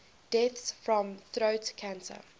deaths from throat cancer